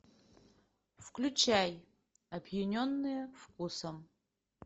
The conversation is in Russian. включай опьяненные вкусом